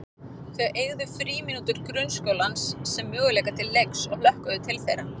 Þau eygðu frímínútur grunnskólans sem möguleika til leiks og hlökkuðu til þeirra.